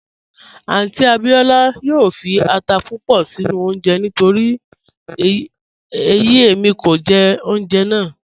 Àunty Abíọla yoo fí àtà púpọ̀ sinu ọ̀unje nítorí eyi emi kò ní jẹ ọ̀unjẹ́ náà